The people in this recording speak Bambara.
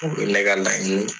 O ye ne ka laɲini